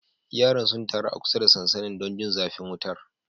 Yaran sun taru a kusa da sansanin don jin zafin wutar.